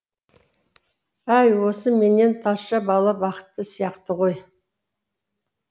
әй осы менен тазша бала бақытты сияқты ғой